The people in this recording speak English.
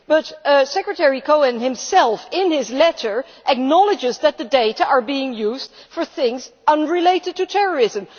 but Secretary Cohen himself in his letter acknowledges that the data is being used for things unrelated to terrorism.